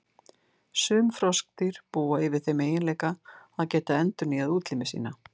Sum froskdýr búa yfir þeim eiginleika að geta endurnýjað útlimi sína.